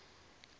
tower did collapse